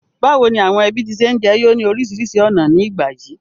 Bàwoni àwon ẹbí ti se n jeyo ni orísìrísi ọ̀nà ni ìgbà yìí?